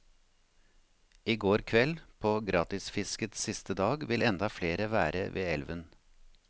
I går kveld, på gratisfiskets siste dag, vil enda flere være ved elven.